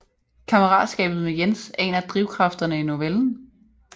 Kammeratskabet med Jens er en af drivkræfterne i novellen